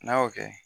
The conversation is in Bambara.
N'a y'o kɛ